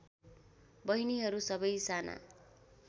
बहिनीहरू सबै साना